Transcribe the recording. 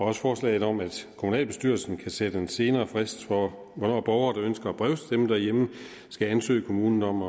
også forslaget om at kommunalbestyrelsen kan sætte en senere frist for hvornår borgere der ønsker at brevstemme derhjemme skal ansøge kommunen om